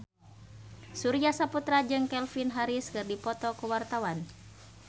Surya Saputra jeung Calvin Harris keur dipoto ku wartawan